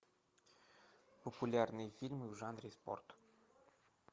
популярные фильмы в жанре спорт